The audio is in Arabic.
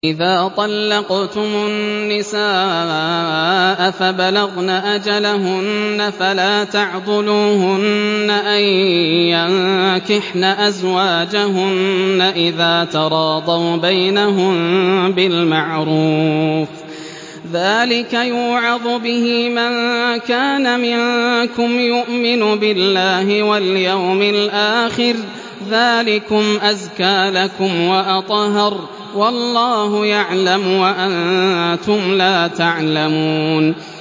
وَإِذَا طَلَّقْتُمُ النِّسَاءَ فَبَلَغْنَ أَجَلَهُنَّ فَلَا تَعْضُلُوهُنَّ أَن يَنكِحْنَ أَزْوَاجَهُنَّ إِذَا تَرَاضَوْا بَيْنَهُم بِالْمَعْرُوفِ ۗ ذَٰلِكَ يُوعَظُ بِهِ مَن كَانَ مِنكُمْ يُؤْمِنُ بِاللَّهِ وَالْيَوْمِ الْآخِرِ ۗ ذَٰلِكُمْ أَزْكَىٰ لَكُمْ وَأَطْهَرُ ۗ وَاللَّهُ يَعْلَمُ وَأَنتُمْ لَا تَعْلَمُونَ